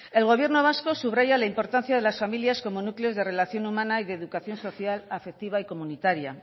el gobierno vasco subraya la importancia de las familias como núcleos de relación humana y de educación social afectiva y comunitaria